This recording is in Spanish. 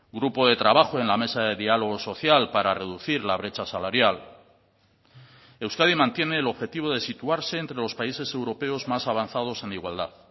grupo de trabajo en la mesa de diálogo social para reducir la brecha salarial euskadi mantiene el objetivo de situarse entre los países europeos más avanzados en igualdad